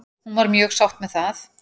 Hún var mjög sátt með það.